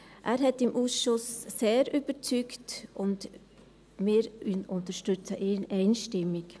Er hat im Ausschuss sehr überzeugt, und wir unterstützen ihn einstimmig.